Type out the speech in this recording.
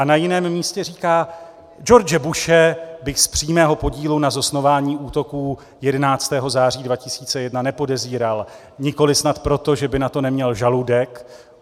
A na jiném místě říká: "George Bushe bych z přímého podílu na zosnování útoků 11. září 2001 nepodezíral, nikoliv snad proto, že by na to neměl žaludek.